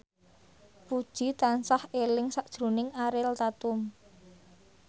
Puji tansah eling sakjroning Ariel Tatum